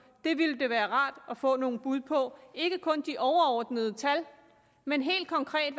det ville det være rart at få nogle bud på ikke kun få de overordnede tal men helt konkret